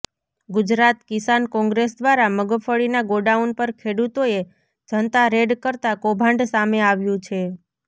ગુજરાત કીસાન કોંગ્રેસ દ્વારા મગફળીના ગોડાઉન પર ખેડૂતોએ જનતા રેડ કરતા કૌભાંડ સામે આવ્યું છે